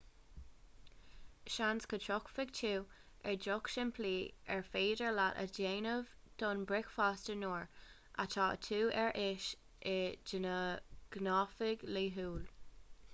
seans go dtiocfaidh tú ar dheoch shimplí ar féidir leat a dhéanamh don bhricfeasta nuair atá tú ar ais i do ghnáthamh laethúil